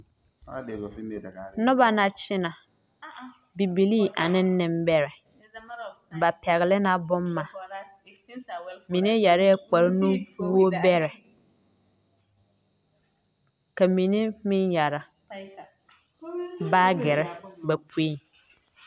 Nona la kyinɛ bibilii aneŋ nimbɛrrɛ ba pɛgle la bomma mine yɛrɛɛ kpare nuwogbɛrɛ ka mine meŋ yɛre baagyirre ba poeŋ.